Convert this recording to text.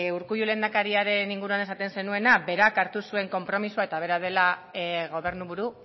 urkullu lehendakariaren inguruan esaten zenuena berak hartu zuen konpromisoa eta bera dela gobernuburu